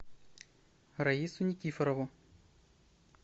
раису никифорову